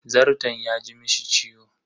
Zarton ya ji mishi ciwo.